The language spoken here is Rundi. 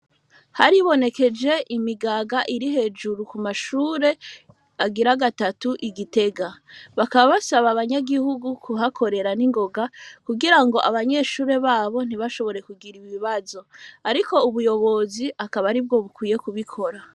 Haribonekeje imigaga iri hejuru ku mashure agira gatatu igitega bakaba basaba abanyagihugu kuhakorera n'ingoga kugira ngo abanyeshure babo ntibashobore kugira ibibazo, ariko ubuyobozi akaba ari bwo bukwiye kubikora.